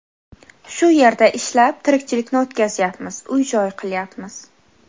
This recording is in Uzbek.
Shu yerda ishlab, tirikchilikni o‘tkazyapmiz, uy joy qilyapmiz.